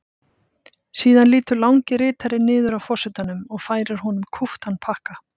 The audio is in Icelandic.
Síðan lýtur langi ritarinn niður að forsetanum og færir honum kúptan pakka.